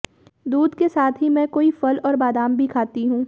दूध के साथ ही मैं कोई फल और बादाम भी खाती हूं